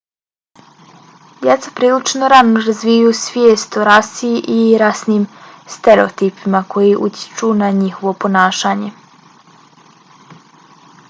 djeca prilično rano razvijaju svijest o rasi i rasnim stereotipima koji utječu na njihovo ponašanje